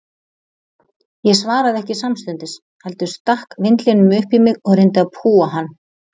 Ég svaraði ekki samstundis, heldur stakk vindlinum upp í mig og reyndi að púa hann.